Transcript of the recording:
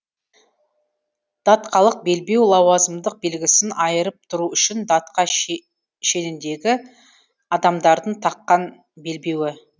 датқалық белбеу лауазымдық белгісін айырып тұру үшін датқа шеніндегі адамдардың таққан белбеуі